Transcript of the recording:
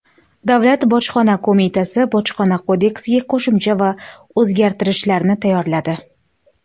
Davlat bojxona qo‘mitasi Bojxona kodeksiga qo‘shimcha va o‘zgartirishlarni tayyorladi.